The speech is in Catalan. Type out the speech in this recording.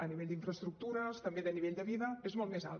pel que fa a infraestructures també a nivell de vida és molt més alt